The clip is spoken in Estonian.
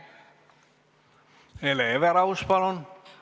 Hele Everaus, palun!